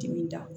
Dimin da